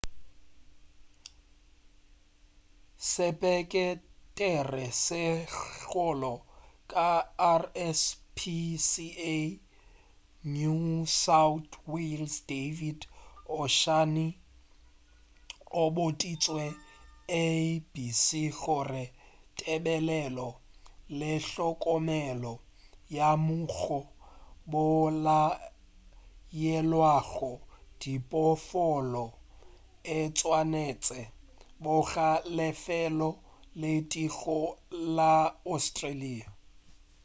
sepeketere se segolo sa rspca new south wales david o'shannessy o boditše abc gore tebelelo le hlokomelo ya moo go bolayelwago diphoofolo e swanetše goba lefelo le tee go la australia